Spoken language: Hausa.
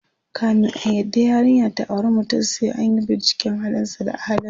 kamin a yarda yarinya ta auri mutum, sai anyi binciken halin sa da ahlinsa